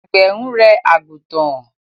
Àgbẹ̀ ń rẹ́ àgùntàn.